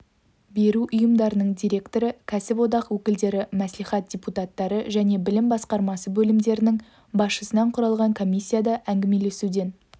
беру ұйымдарының директоры кәсіподақ өкілдері мәслихат депутаттары және білім басқармасы бөлімдерінің басшысынан құралған комиссияда әңгімелесуден